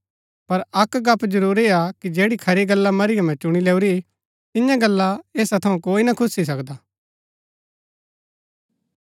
पर अक्क गप्‍प जरुरआ कि जैड़ी खरी गल्ला मरियमें चुणी लैऊरी तियां गल्ला ऐसा थऊँ कोई ना खुस्सी सकदा